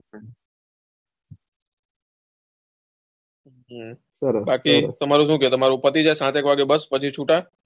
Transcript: બાકી તમારે સુ છે તમારે પતિ જાય સાત એક વાગે પછી છુટા.